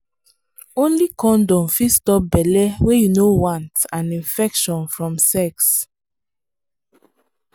only condom fit stop belle wey you no want and infection from sex.